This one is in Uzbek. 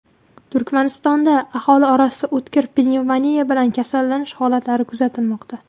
Turkmanistonda aholi orasida o‘tkir pnevmoniya bilan kasallanish holatlari kuzatilmoqda.